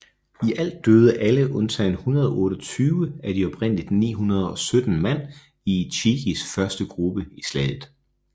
I alt døde alle undtagen 128 af de oprindelig 917 mand i Ichikis første gruppe i slaget